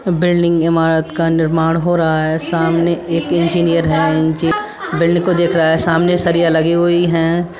Building इमारत का निर्माण हो रहा है सामने एक इंजीनियर है इंज- बिल्डिंग को देख रहा है सामने सरिया लगी हुई हैं।